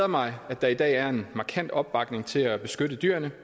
mig at der i dag er en markant opbakning til at beskytte dyrene